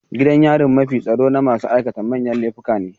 Gidan yarin mafi tsaro na masu aikata manyan laifuka ne.